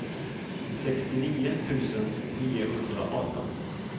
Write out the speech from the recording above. sextionio tusen niohundraarton